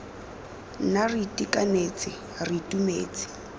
nna re itekanetse re itumetse